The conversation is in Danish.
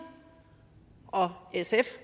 og sf